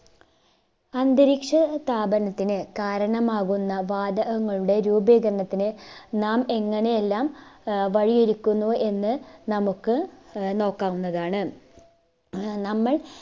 അന്തരീക്ഷ താപനത്തിന് കാരണമാകുന്ന വാതകങ്ങളുടെ രൂപീകരണത്തിന് നാം എങ്ങനെയെല്ലാം ആഹ് വഴി ഒരുക്കുന്നു എന്ന് നമുക്ക് ആഹ് നോക്കാവുന്നതാണ് ആഹ് നമ്മൾ